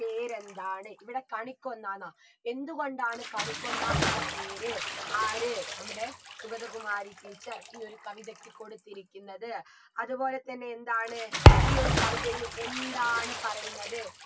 പേരെന്താണ് ഇവിടെ കണിക്കൊന്നാന്ന എന്ത് കൊണ്ടാണ് കണിക്കൊന്ന എന്ന പേര് ആര് നമ്മുടെ സുഗതകുമാരി teacher ഈ ഒരു കവിതക്ക് കൊടുത്തിരിക്കുന്നത് അത്പോലെ തന്നെ എന്താണ് ഈ ഒരു കവിതയിൽ എന്താണ് പറയുന്നത്